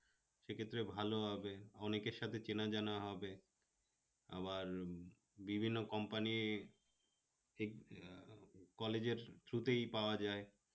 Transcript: সেক্ষেত্রে ভালো হবে অনেকের সাথে চেনা জানা হবে, আবার বিভিন্ন company ঠিক college এর through তেই পাওয়া যায়